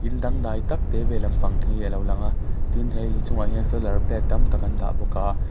in dangdai tak te ve lampang hi a lo lang a tin he inchungah hian solar plate tam tak an dah bawk a.